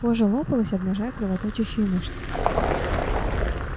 кожа лопалась обнажая кровоточащие мышцы